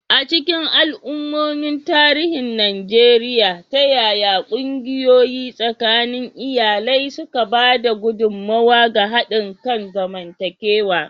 A cikin al'ummomin tarihin Najeriya, ta yaya ƙungiyoyi tsakanin iyalai suka ba da gudummawa ga haɗin kan zamantakewa?